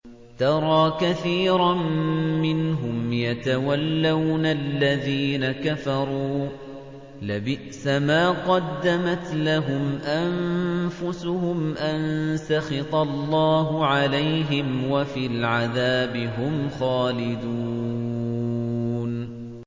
تَرَىٰ كَثِيرًا مِّنْهُمْ يَتَوَلَّوْنَ الَّذِينَ كَفَرُوا ۚ لَبِئْسَ مَا قَدَّمَتْ لَهُمْ أَنفُسُهُمْ أَن سَخِطَ اللَّهُ عَلَيْهِمْ وَفِي الْعَذَابِ هُمْ خَالِدُونَ